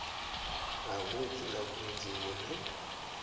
ha ṅwedzi nga ṅwedzi vhune